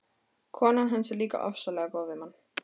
Konan hans er líka ofsalega góð við mann.